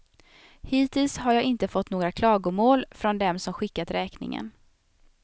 Hittills har jag inte fått några klagomål från dem som skickat räkningen.